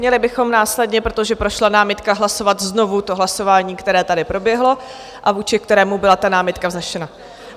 Měli bychom následně, protože prošla námitka, hlasovat znovu to hlasování, které tady proběhlo a vůči kterému byla ta námitka vznesena.